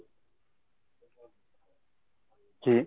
জি।